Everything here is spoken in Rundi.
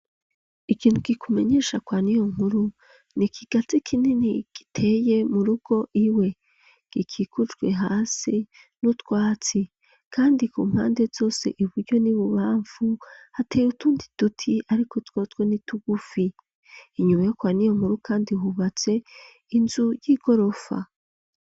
Ikintu, kikumenyesha, kwa Niyonkuru, ni ikigazi kinini, giteye mu rugo iwe; gikikujwe hasi, n'utwatsi; kandi ku mpande zose, iburyo n'ibubamfu, hateye utundi duti, ariko twotwo ni tugufi; inyuma yo kwa Niyonkuru kandi, hubatse inzu, y'igorofa.